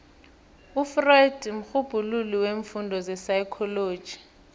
ufreud mrhubhululi weemfundo zepsychology